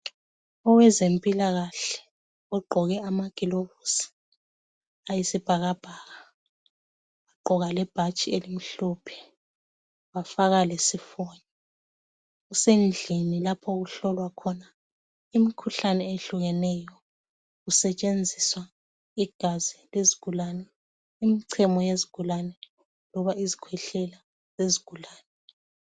Owezempilakahle ogqoke amagilovisi iyisibhakabhaka wagqoka lebhatshi elimhlophe wafaka lesifonyo usendlini lapho okuhlolwa khona imkhuhlane eyehlukeneyo kusetshenziswa igazi lezigulane, imichemo yezigulane loba izikhwehlela zezigulane.